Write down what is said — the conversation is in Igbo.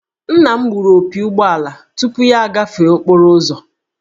Nna m gbụrụ opi ụgbọala ahụ tupu ya agafee okporo ụzọ